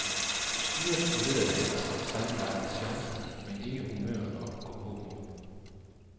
Styrtet spolerede hans sammenlagte chancer, men ikke humøret og gåpåmodet.